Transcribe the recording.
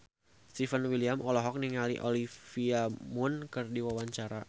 Stefan William olohok ningali Olivia Munn keur diwawancara